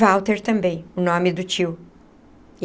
Walter também, o nome do tio.